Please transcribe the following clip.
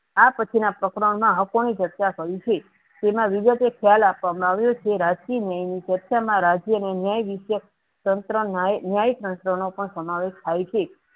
આપછીના પ્રકરણમાં હકોની ચર્ચા કરી છે. તેમાં વિવેકે ખ્યાલ આપવામાં આવ્યો છે રાજકીય ન્યાયની ચર્ચા માં રાજ્યની ન્યાય વિશે તંત્ર ન્યાય તંત્રનો પણ સમાવેશ થાય છે.